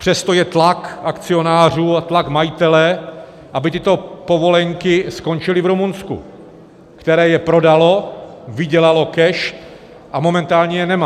Přesto je tlak akcionářů a tlak majitele, aby tyto povolenky skončily v Rumunsku, které je prodalo, vydělalo cash a momentálně je nemá.